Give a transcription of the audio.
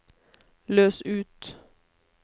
løs ut